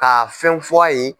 Ka fɛnw f'a ye.